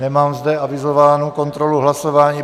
Nemám zde avizovanou kontrolu hlasování.